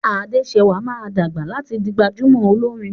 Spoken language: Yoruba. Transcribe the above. Adesewa má dàgbà láti dì gbajúmò Olorin